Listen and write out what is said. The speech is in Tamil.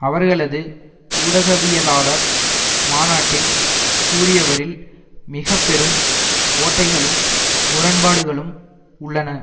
அவர்களது ஊடகவியலாளர் மாநாட்டில் கூறியவறில் மிக பெரும் ஓட்டைகளும் முரண்பாடுகளும் உள்ளன